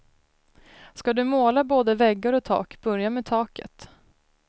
Ska du måla både väggar och tak, börja med taket.